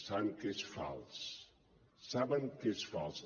saben que és fals saben que és fals